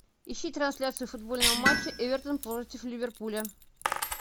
ищи трансляцию футбольного матча эвертон против ливерпуля